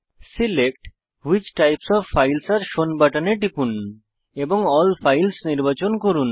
select which types of files are shown বাটনে টিপুন এবং এএলএল ফাইলস নির্বাচন করুন